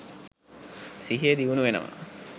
සිහිය දියුණු වෙනවා.